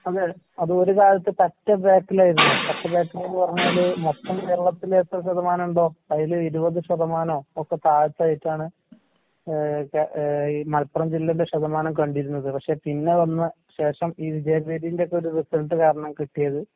അതെ അതൊര് കാലത്ത് പറ്റെ ബാക്കിലായിരുന്നു. പറ്റെ ബാക്കിലെന്ന് പറഞ്ഞാല് മൊത്തം കേരളത്തില് എത്ര ശതമാനുണ്ടോ അതില് ഇരുപത് ശതമാനോ ഒക്കെ താഴ്ത്തായിട്ടാണ് ഏഹ് കെ ഏഹ് ഈ മലപ്പുറം ജില്ലേടെ ശതമാനം കണ്ടിരുന്നത്. പക്ഷെ പിന്നെ വന്ന ശേഷം ഈ വിജയവീഥീന്റൊക്കൊരു റിസൾട്ട് കാരണം കിട്ടിയത്